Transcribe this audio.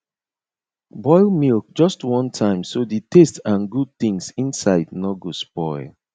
boil milk just one time so the taste and good things inside no go spoil